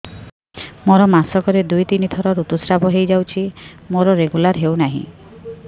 ମୋର ମାସ କ ରେ ଦୁଇ ରୁ ତିନି ଥର ଋତୁଶ୍ରାବ ହେଇଯାଉଛି ମୋର ରେଗୁଲାର ହେଉନାହିଁ